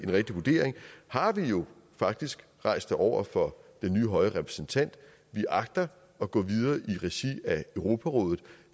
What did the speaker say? rigtig vurdering har vi jo faktisk rejst det over for den nye høje repræsentant vi agter at gå videre i regi af europarådet